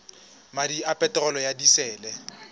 madi a peterolo ya disele